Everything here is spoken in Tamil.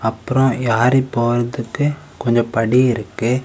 அப்ரோ யாறி போறதுக்கு கொஞ்சம் படி இருக்கு.